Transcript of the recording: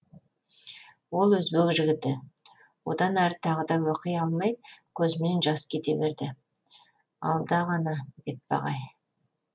ол өзбек жігіті одан әрі тағы да оқи алмай көзімнен жас кете берді алда ғана бетпақ ай